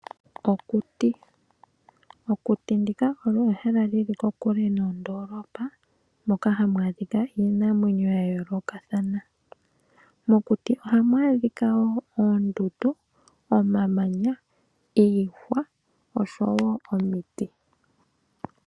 Okuti ndika olyo ehala lili kokule noondolopa, moka hamu adhika iinamwenyo yayoolokathana , mokuti ohamu adhika oondundu, omamanya, iihwa oshowoo omiti.